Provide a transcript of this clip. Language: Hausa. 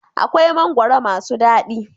Akwai mangwaro masu dadi?